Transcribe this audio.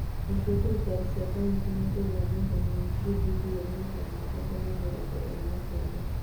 Nacio thirikari cia kaũntĩ nĩikũgĩa mũigana wa ciringi birioni magana matatũ ma mĩrongo ĩrĩ na kenda